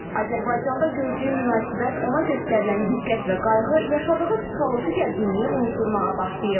Azərbaycanda gördüyü münasibət, ona göstərilən diqqət və qayğı yaşadığı psixoloji gərginliyi unutdurmağa başlayıb.